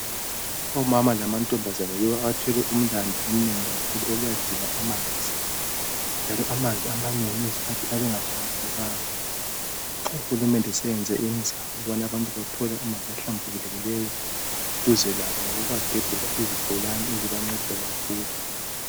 Omama lamantombazana yibo abathwele umlandu omnengi omkhulu kakhulu owokuyadinga amanzi. Njalo amanzi amanengi izikhathi ayabe engahlambulukanga. Uhulumende useyenze imizamo yokubana abantu bathole amanzi ahlambulukileyo duze labo ngokubagebhela izibholane ezibanceda kakhulu.